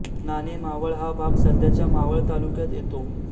नाणे मावळ हा भाग सध्याच्या मावळ तालुक्यात येतो